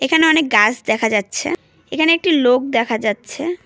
এখানে অনেক গাছ দেখা যাচ্ছে এখানে একটি লোক দেখা যাচ্ছে।